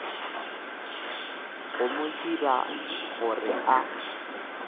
go mo dira gore a